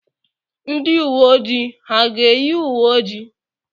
Ndị uwe ojii ha ga-eyi uwe ojii?